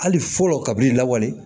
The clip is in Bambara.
Hali fɔlɔ ka b'i lawale